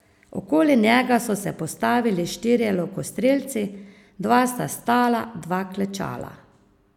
Okoli njega so se postavili štirje lokostrelci, dva sta stala, dva klečala.